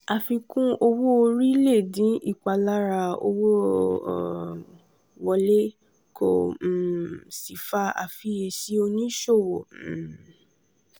àfikún owó orí lè dín ìpalára owó um wọlé kó um sì fa àfiyèsí oníṣòwò. um